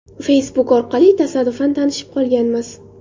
Facebook orqali tasodifan tanishib qolganmiz.